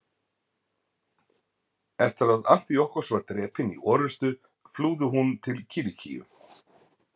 Eftir að Antíokkos var drepinn í orrustu flúði hún til Kilikíu.